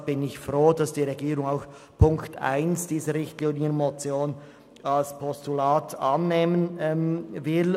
Deshalb bin ich froh, dass die Regierung auch den Punkt 1 dieser Richtlinienmotion als Postulat annehmen will.